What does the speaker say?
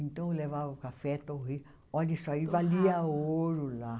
Então eu levava café, torrei, olhe isso aí, valia ouro lá.